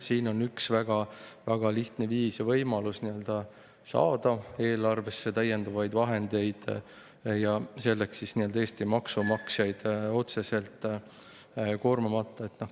Siin on üks väga lihtne viis või võimalus eelarvesse täiendavaid vahendeid saada, ja selleks Eesti maksumaksjaid otseselt koormamata.